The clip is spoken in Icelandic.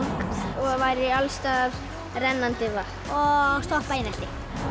og væri alls staðar rennandi vatn og stoppa einelti